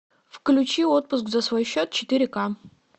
включи отпуск за свой счет четыре ка